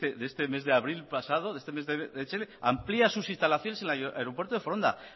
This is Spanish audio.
de este mes de abril pasado de este mes abril amplia sus instalaciones en el aeropuerto de foronda